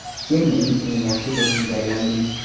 Sen mening eng yaxshi do‘stimga aylanding.